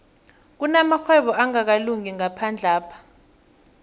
kunamarhwebo angakalungi ngaphandlapha